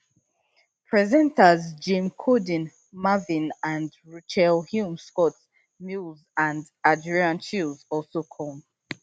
presenters james corden marvin and rochelle humes scott mills and adrian chiles also come